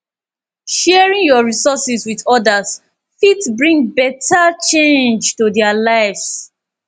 sharing yur resources with odas fit bring beta change to their lives